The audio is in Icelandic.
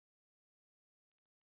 Mikið æði greip um sig.